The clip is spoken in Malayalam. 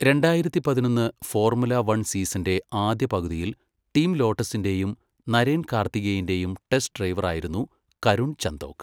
രണ്ടായിരത്തി പതിനൊന്ന് ഫോർമുല വൺ സീസണിന്റെ ആദ്യ പകുതിയിൽ ടീം ലോട്ടസിന്റെയും നരേൻ കാർത്തികേയന്റെയും ടെസ്റ്റ് ഡ്രൈവറായിരുന്നു കരുൺ ചന്ദോക്.